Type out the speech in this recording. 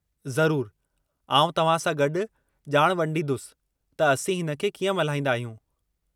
ज़रूरु! आउं तव्हां सां गॾु जा॒ण वंडींदुसि त असीं हिन खे कीअं मल्हाईंदा आहियूं।